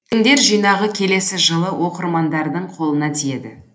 өлеңдер жинағы келесі жылы оқырмандардың қолына тиеді